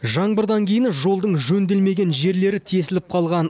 жаңбырдан кейін жолдың жөнделмеген жерлері тесіліп қалған